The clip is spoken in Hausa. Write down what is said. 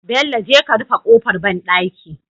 Bello je ka rufe kofar banɗaki